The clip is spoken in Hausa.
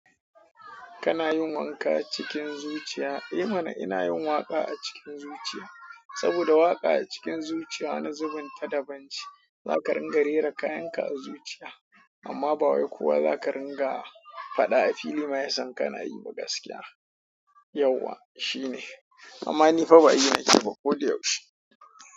Kana yin waƙa cikin zuciya? Eh mana ina yin waƙa a cikin zuciya. Saboda waƙa a cikin zuciya wani zubin ta daban ce. Zaka ringa rera kayan ka a zuciya amma ba wai kowa zaka ringa faɗa a fili ma yasan ka na yi ba gaskiya. Yauwa shine, amma ni fa ba yi nake yi ba ko da yaushe.